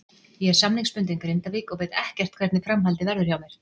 Ég er samningsbundinn Grindavík og veit ekkert hvernig framhaldið verður hjá mér.